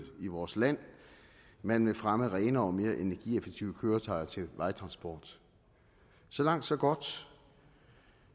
i vores land man vil fremme brugen af renere og mere energieffektive køretøjer til vejtransport så langt så godt